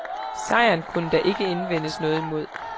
Sejren kunne der ikke indvendes noget imod.